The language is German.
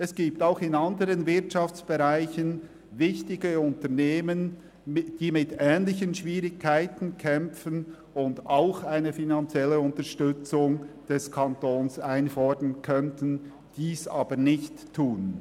Es gibt auch in anderen Wirtschaftsbereichen wichtige Unternehmen, die mit ähnlichen Schwierigkeiten kämpfen und auch eine finanzielle Unterstützung des Kantons einfordern könnten, dies aber nicht tun.